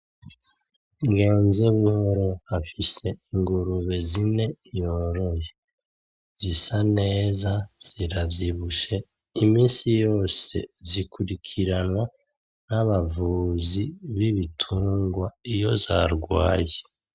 Ngenzebuhoro afise ingurube zine yoroye. Zisa neza, ziravyibushe, iminsi yose zikurikiranwa n'abavuzi b'ibitungwa iyo zarwaye.